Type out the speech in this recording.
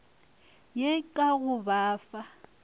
ye ka go ba fa